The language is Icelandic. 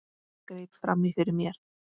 Greip fram í fyrir mér.